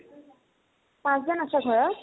পাঁছজন আছা ঘৰত?